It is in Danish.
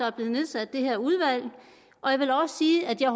er blevet nedsat det her udvalg og jeg vil også sige at jeg